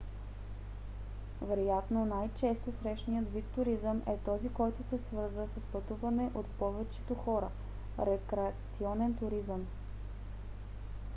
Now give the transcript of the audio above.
вероятно най-често срещаният вид туризъм е този който се свързва с пътуване от повечето хора: рекреационен туризъм